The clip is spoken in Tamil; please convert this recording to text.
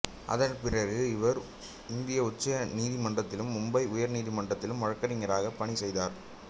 அதன் பிறகு அவர் இந்திய உச்ச நீதிமன்றத்திலும் மும்பை உயர் நீதிமன்றத்திலும் வழக்கறிஞராக பணி செய்தார்